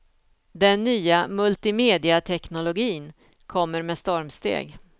Den nya multimediateknologin kommer med stormsteg.